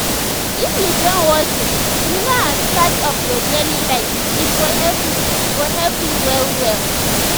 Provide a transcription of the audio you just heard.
if you join walking you knownas part of your daily life e go help you go help you well well.